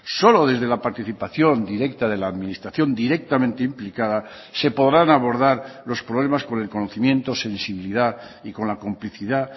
solo desde la participación directa de la administración directamente implicada se podrán abordar los problemas con el conocimiento sensibilidad y con la complicidad